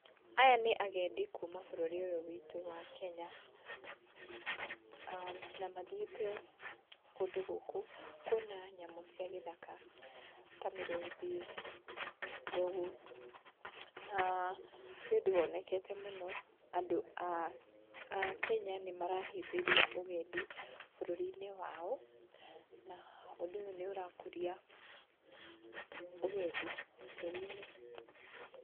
Aya nĩ agendi kuma bũrũri ũyũ witũ wa Kenya, aah, na mathiĩte kũndũ gũkũ kuona nyamũ cia gĩthaka ta mĩrũthi, njogu, aah, nĩũndũ wonekete mũno andũ a a Kenya nĩmarahĩmbĩria ũgendi bũrũri-inĩ wao, na ũndũ ũyũ nĩ ũrakũria ũgendi bũrũri-inĩ.